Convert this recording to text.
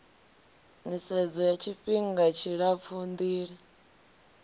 nisedzo ya tshifihnga tshilapfu ndila